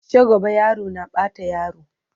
shagwaba yaro na Bata yaro